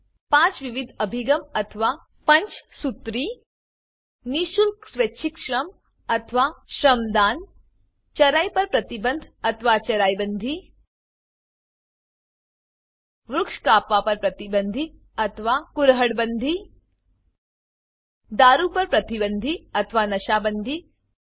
પાંચ વિવિધ અભિગમ અથવાPanchsutriપંચસુત્રી 1નિઃશુલ્ક સ્વૈચ્છિક શ્રમ અથવા Shramdaanસ્વયમ દાન 2ચરાઈ પર પ્રતિબંધ અથવા ચરાઈ bandiચરાઈ બંદી 3વૃક્ષ કાપવા પર પ્રતિબંધ અથવા કુરહાડ bandiકુરહળ બંદી 4દારૂ પર પ્રતિબંધ અથવા નશા Bandiનશા બંદી 5